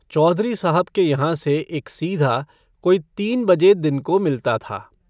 चौधरी साहब के यहाँ से एक सीधा कोई तीन बजे दिन को मिलता था।